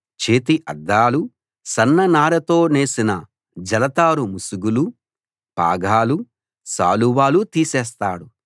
చేతి అద్దాలు సన్ననారతో నేసిన జలతారు ముసుగులు పాగాలు శాలువాలు తీసేస్తాడు